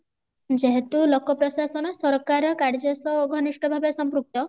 ଯେହେତୁ ଲୋକ ପ୍ରଶାସନ ସରକାର କାର୍ଯ୍ୟ ସହ ଘନିଷ୍ଠ ଭାବେ ସମ୍ପୃକ୍ତ